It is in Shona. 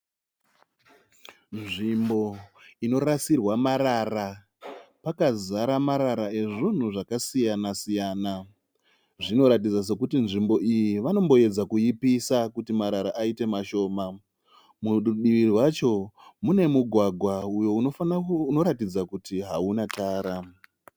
Nzvimbo inorasirwa marara pakazara marara ezvinhu zvakasiyana siyana. Zvinoratidza sekuti nzvimbo iyi vanomboedza kuipisa kuti marara aite mashoma. Murudivi rwacho mune mugwagwa uyo unoratidza kuti hauna tara.